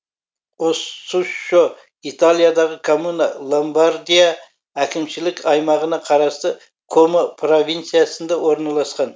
оссуччо италиядағы коммуна ломбардия әкімшілік аймағына қарасты комо провинциясында орналасқан